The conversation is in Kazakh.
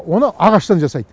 оны ағаштан жасайды